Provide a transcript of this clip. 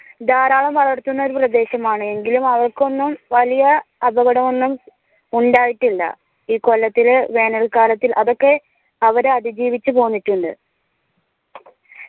ധാരാളം വളർത്തുന്ന ഒരു പ്രദേശം ആണ് എങ്കിലും അവയ്ക്കൊന്നും വലിയ അപകടം ഒന്നും ഉണ്ടായിട്ടില്ല ഈ കൊല്ലത്തിൽ വേനൽ കാലത്ത് അതൊക്കെ അവർ അതിജീവിച്ച് പോന്നിട്ടുണ്ട്